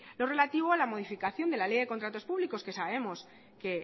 lo relativo a la modificación de la ley de contratos públicos que sabemos que